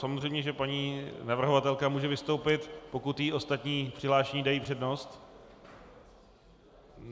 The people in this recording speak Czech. Samozřejmě že paní navrhovatelka může vystoupit, pokud jí ostatní přihlášení dají přednost.